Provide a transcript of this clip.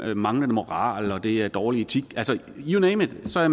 jo manglende moral og det er dårlig etik you name it så er